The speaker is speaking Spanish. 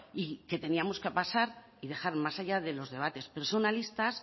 y que teníamos que pasar y dejar más allá de los debates personalistas